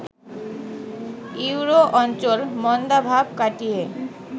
euro অঞ্চল মন্দাভাব কাটিয়ে